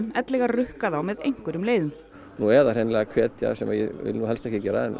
ellegar rukka þá með einhverjum leiðum nú eða hreinlega hvetja sem ég vill nú helst ekki gera